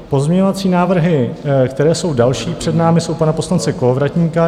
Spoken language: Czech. Pozměňovací návrhy, které jsou další před námi, jsou pana poslance Kolovratníka.